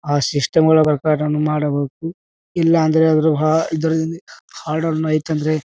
ಆ ಸಿಸ್ಟಮ್ ಗಳ ಪ್ರಕಾರ ಮಾಡಬೇಕು .ಇಲ್ಲಾ ಅಂದ್ರೆ ಅವರು ಹ ಹಾಡನ್ನು ಹೋಯಿತು ಅಂದ್ರೆ--